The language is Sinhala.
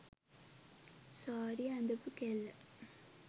සාරිය ඇඳපු කෙල්ල